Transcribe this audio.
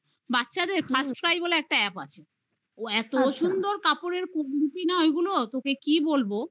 বাচ্চাদের first বলে একটা app আছে ও এত সুন্দর কাপড়ের ওইগুলো তোকে কি বলবো